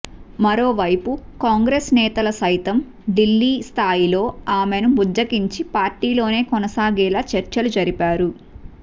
మరోవైపు కాంగ్రెస్ నేతలు సైతం ఢిల్లీ స్థాయిలో ఆమెను బుజ్జగించి పార్టీలోనే కొనసాగేలా చర్చలు జరిపారు